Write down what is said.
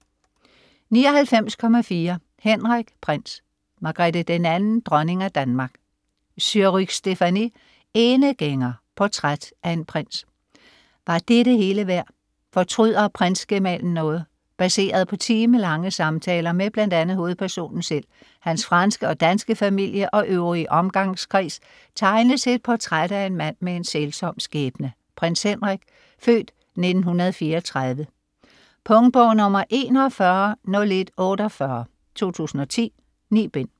99.4 Henrik: prins, Margrethe II, dronning af Danmark Surrugue, Stéphanie: Enegænger: portræt af en prins Var det det hele værd? Fortryder prinsgemalen noget? Baseret på timelange samtaler med bl.a. hovedpersonen selv, hans franske og danske familie og øvrige omgangskreds, tegnes et portræt af en mand med en sælsom skæbne, Prins Henrik (f. 1934). Punktbog 410148 2010. 9 bind.